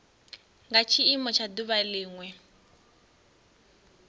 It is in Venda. nga tshiimo tsha duvha linwe